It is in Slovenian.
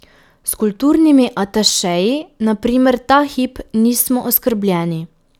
S kulturnimi atašeji na primer ta hip nismo oskrbljeni.